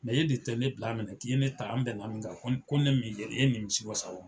e de tɛ ne bila minɛ k'i ye ne ta an bɛnna min kan ko ko ne mɛn e nimisi wasa o rɔ.